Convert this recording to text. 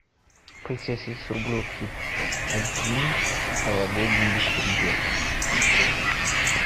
полицейский с рублевки один новогодний беспредел